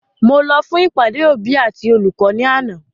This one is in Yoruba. Mo lọ fún ìpàdé òbí àti olùkọ́ ni àná